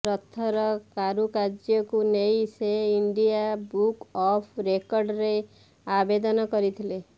ରଥର କାରୁକାର୍ୟ୍ୟକୁ ନେଇ ସେ ଇଣ୍ଡିଆ ବୁକ ଅଫ ରେକର୍ଡରେ ଆବେଦନ କରିଥିଲେ